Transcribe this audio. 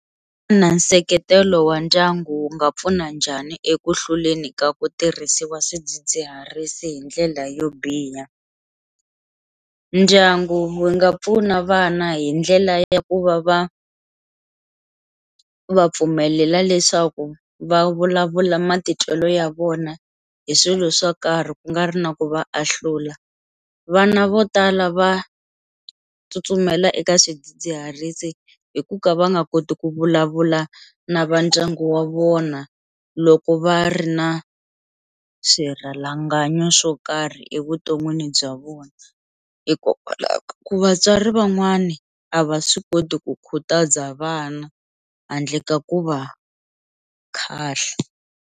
Na nseketelo wa ndyangu wu nga pfuna njhani eku hluleni ka ku tirhisiwa swidzidziharisi hi ndlela yo biha, ndyangu wu nga pfuna vana hi ndlela ya ku va va va pfumelela leswaku va vulavula matitwelo ya vona hi swilo swo karhi ku nga ri na ku va ahlula, vana vo tala va tsutsumela eka swidzidziharisi hi ku ka va nga koti ku vulavula na va ndyangu wa vona loko va ri na swirhalanganyi swo karhi evuton'wini bya vona hikokwalaho ka ku vatswari van'wani a va swi koti ku khutaza vana handle ka ku va khahla.